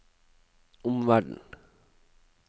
omverden